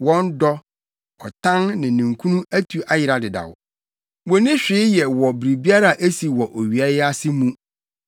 Wɔn dɔ, ɔtan ne ninkunu atu ayera dedaw; wonni hwee yɛ wɔ biribiara a esi wɔ owia yi ase mu.